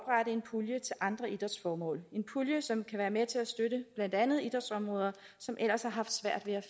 en pulje til andre idrætsformål en pulje som kan være med til at støtte blandt andet idrætsområder som ellers har haft svært ved at